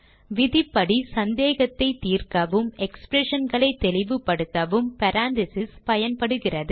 விதியின் படி சந்தேகத்தைத் தீர்க்கவும் expressionகளை தெளிப்படுத்தவும் parentheses ஐ பயன்படுத்துக